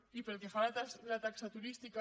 i pel que fa a la taxa turística